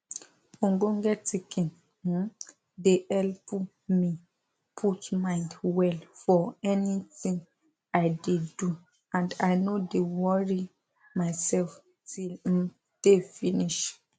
ogbonge tinkin um de helep me put mind well for ani tin i de do and i nor de worri mysef till um day finish